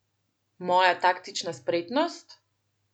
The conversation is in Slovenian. Moja taktična spretnost?